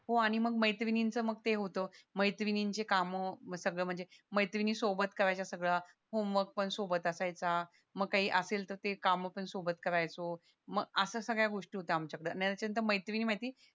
हो आणि मंग मैत्रिणीच ते होत मैत्रणीन चे काम सगळं म्हणजे मेत्रींनी सोबत करायच्या सगळं होमवर्क पण सोबत असायचा मग काही असेल तसे काम पण सोबत करायचो म असं सगळ्या गोष्टी होत्या आमच्या कड मैत्रिणी मैत्रिणी